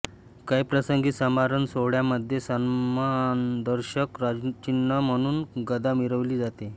काही प्रसंगी समारंभसोहळ्यांमध्ये सन्मानदर्शक राजचिन्ह म्हणून गदा मिरवली जाते